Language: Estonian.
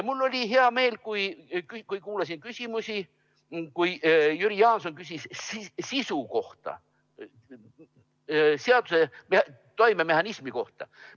Mul oli hea meel, kui kuulasin küsimusi, seda, kuidas Jüri Jaanson küsis sisu kohta, seaduse toimemehhanismi kohta.